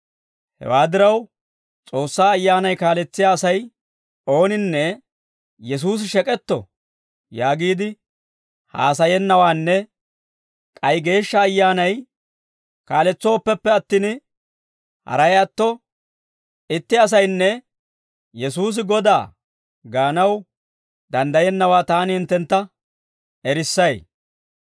Hewaa diraw, S'oossaa Ayyaanay kaaletsiyaa Asay ooninne, «Yesuusi shek'etto» yaagiide haasayennawaanne k'ay Geeshsha Ayyaanay kaaletsooppeppe attin, haray atto itti asaynne, «Yesuusi Godaa» gaanaw danddayennawaa taani hinttentta erissay.